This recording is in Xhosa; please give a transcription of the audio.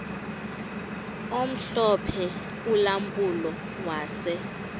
omhlophe ulampulo wase